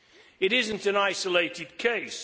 It is not an isolated case.